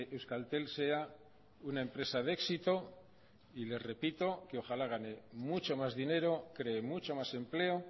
euskaltel sea una empresa de éxito y les repito que ojala gane mucho más dinero cree mucho más empleo